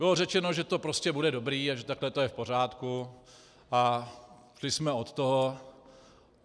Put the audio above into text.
Bylo řečeno, že to prostě bude dobré a že takhle to je v pořádku, a šli jsme od toho.